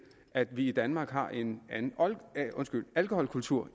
at vi i danmark har en anden alkoholkultur